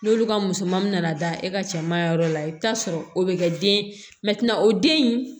N'olu ka musomanin nana da e ka cɛman yɔrɔ la i bɛ taa sɔrɔ o bɛ kɛ den o den in